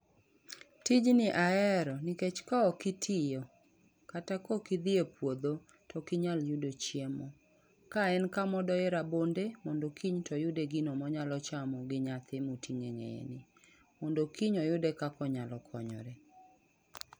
Tijni ahero nikech kaok itiyo, kata kaok idhi e puodho to ok inyal yudo chiemo. Ka en kama odoye rabonde mondo kiny to oyude gino monyalo chamo gi nyathi moting'o eng'eyeni. Mondo kiny oyude kaka onyalo konyore.